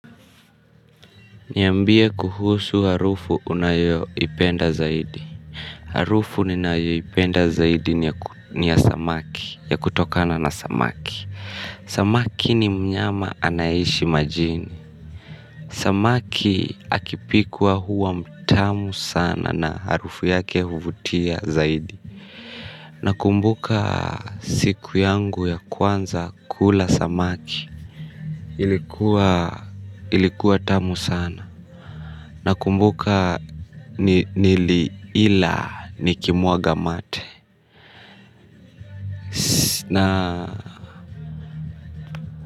Niambie kuhusu harufu unayo ipenda zaidi. Harufu ninayo ipenda zaidi ni ya samaki. Ya kutokana na samaki samaki ni mnyama anaishi majini samaki akipkwa huwa mtamu sana harufu yake huvutia zaidi. Nakumbuka siku yangu ya kwanza kula samaki. Ilikuwa ilikuwa tamu sana. Na kumbuka nili ila nikimuaga mate Na.